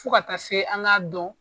Fo ka taa se an k'a dɔn.